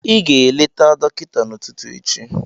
Ị ga-eleta dọkịta n'ụtụtụ echi